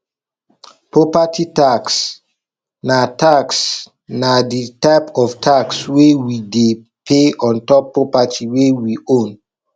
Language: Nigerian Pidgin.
property tax na tax na di type of tax wey we dey pay ontop property wey we own